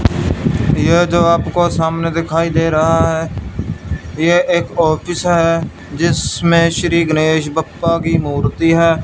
ये जो आपको सामने दिखाई दे रहा है ये एक ऑफिस है जिसमें श्री गणेश बप्पा की मूर्ति है।